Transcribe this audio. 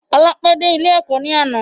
Ọlá pẹ de ilé Ẹ̀kọ́ ni àná.